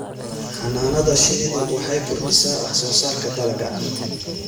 Xannaanada shinnidu waxay kordhisaa wax soo saarka dalagga.